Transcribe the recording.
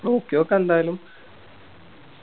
നോക്കിയൊക്ക എന്തായാലും